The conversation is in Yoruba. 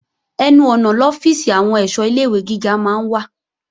Ẹnu ọ̀nà lọ́fíìsì àwọn èṣọ́ ilé-ìwé gíga máa ń wà